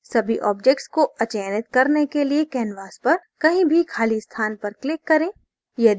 सभी objects को अचयनित करने के लिए canvas पर कहीं भी खाली स्थान पर click करें